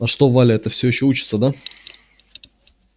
а что валя эта всё ещё учится да